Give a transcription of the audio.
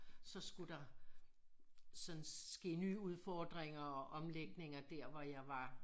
Så skulle der sådan ske nye udfordringer og omlægninger der hvor jeg var